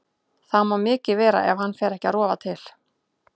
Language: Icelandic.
Það má mikið vera ef hann fer ekki að rofa til.